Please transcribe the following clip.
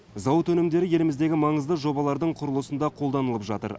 зауыт өнімдері еліміздегі маңызды жобалардың құрылысында қолданылып жатыр